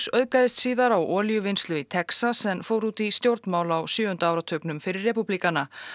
auðgaðist síðar á olíuvinnslu í Texas en fór út í stjórnmál á sjöunda áratugnum fyrir repúblikana